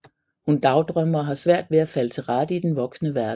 Hun dagdrømmer og har svært ved at falde til rette i den voksne verden